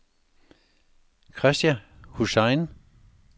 Krista Hussain